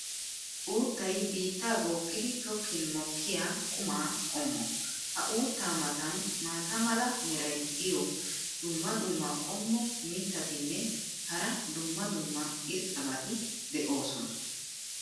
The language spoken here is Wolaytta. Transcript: uuttay biittaa bookkidi tokkin mokkiyaa quma qommo. ha uuttaa matan maata mala meray diyo dumma dumma qommo mitattinne hara dumma dumma irxxabati de'oosona.